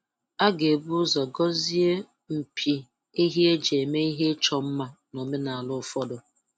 A ga ibu ụzọ gọzie mpi ehi e ji eme ihe ịchọ mma n'omenala ụfọdụ.